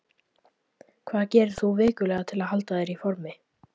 Hvað gerir þú vikulega til að halda þér í formi?